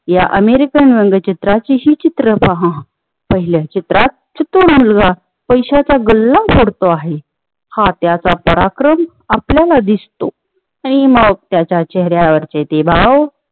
या अमेरिकन व्यंगचित्राची तशी चित्र पहिल्या चित्रात तो मुलगा पैशाचा गल्ला करतो हा त्याचा पराक्रम हा त्याचा पराक्रम आपल्याला दिसतो ते मग त्याच्या चेह-यावरचे ते भाव